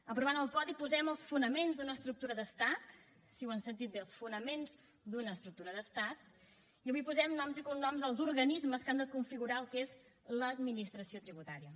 aprovant el codi posem els fonaments d’una estructura d’estat sí ho han sentit bé els fonaments d’una estructura d’estat i avui posem noms i cognoms als organismes que han de configurar el que és l’administració tributària